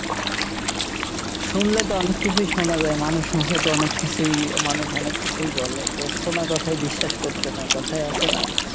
শুনলে তো অনেক কিছুই শুনা যায়, মানুষ মুখে তো অনেক কিছুই মানুষ অনেক কিছুই বলে, তো শোনা কথায় বিশ্বাস করতে নাই, কথায় আছে না।